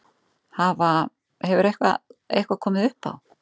Hafa, hefur eitthvað komið upp á?